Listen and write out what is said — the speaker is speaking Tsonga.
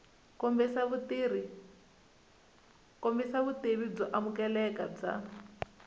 kombisa vutivi byo amukeleka bya